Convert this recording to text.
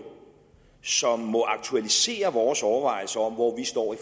som aktualiserer vores overvejelser om hvor vi står